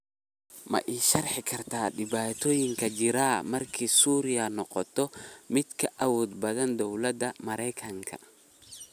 ma ii sharixi kartaa dhibatoyinka jira marka suuriya noqoto mid ka awood badan dawlada maraykanka